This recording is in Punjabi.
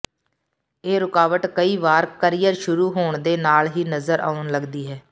ਇਹ ਰੁਕਾਵਟ ਕਈ ਵਾਰ ਕਰੀਅਰ ਸ਼ੁਰੂ ਹੋਣ ਦੇ ਨਾਲ ਹੀ ਨਜ਼ਰ ਆਉਣ ਲਗਦੀ ਹੈ